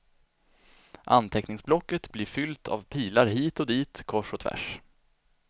Anteckningsblocket blir fyllt av pilar hit och dit, kors och tvärs.